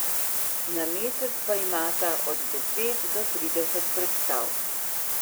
Na mesec pa imata od deset do trideset predstav.